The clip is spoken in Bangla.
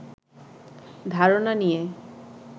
ধারণা নিয়ে